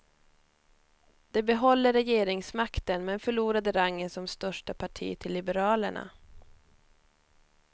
De behåller regeringsmakten men förlorade rangen som största parti till liberalerna.